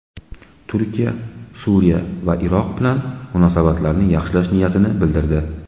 Turkiya Suriya va Iroq bilan munosabatlarni yaxshilash niyatini bildirdi.